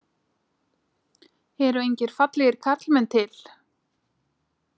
Eru engir fallegir karlmenn til?